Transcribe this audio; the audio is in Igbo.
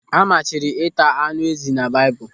A machiri ịta ánụ́ ezi na Baịbụl.